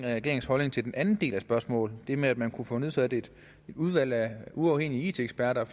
regeringens holdning til den anden del af spørgsmålet nemlig om man kunne få nedsat et udvalg af uafhængige it eksperter